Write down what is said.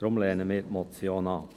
Deshalb lehnen wir die Motion ab.